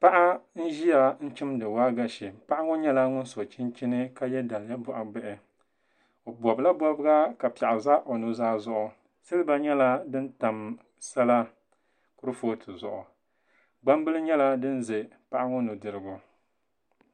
Paɣa n-ʒia n-chimdi waagashe. Paɣa ŋɔ nyɛla ŋun so chinchini ka ye daliya bɔɣibihi. O bɔbila bɔbiga ka piɛɣu za o nuzaa zuɣu. Siliba nyɛla din tam sala kurifootu zuɣu. Gbambila nyɛla din za paɣa ŋɔ nudirigu.